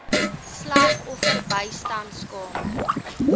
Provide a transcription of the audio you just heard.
slagoffer bystandskamers